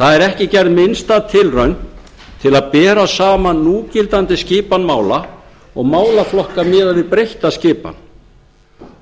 það er ekki gerð minnsta tilraun til að bera saman núgildandi skipan mála og málaflokkar miðað við breytta skipan